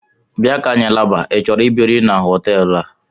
Bịa ka anyị laba: i chọrọ ibiri n'hotelu a?